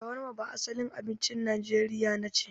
Shawarma ba asalin abincin Najeriya nace.